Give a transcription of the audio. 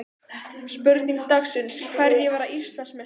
Spurning dagsins: Hverjir verða Íslandsmeistarar?